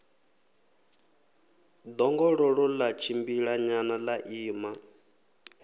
ḓongololo ḽa tshimbilanyana ḽa ima